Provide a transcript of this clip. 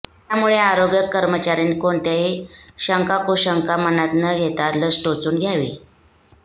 त्यामुळे आरोग्य कर्मचाऱ्यांनी कोणत्याही शंकाकुशंका मनात न घेता लस टोचून घ्यावी